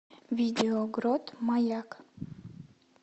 видео грот маяк